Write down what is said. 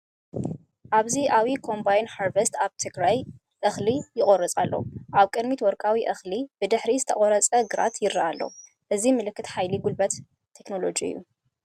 ኣብዚ ዓቢ ኮምባይን ሃርቨስተር ኣብ ግራት እኽሊ ይቖርጽ ኣሎ። ኣብ ቅድሚት ወርቃዊ እኽሊ፡ ብድሕሪት ዝተቖርጸ ግራት ይረአ ኣሎ። እዚ ምልክት ሓይሊ ጉልበትን ቴክኖሎጅን'ዩ።